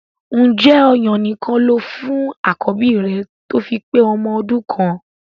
Ǹjẹ́ ọ̀yàn nìkan lo fún àkọ́bí rẹ tó fi pé ọmọ ọdún kan?